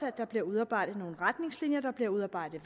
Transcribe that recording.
at der bliver udarbejdet nogle retningslinjer at der bliver udarbejdet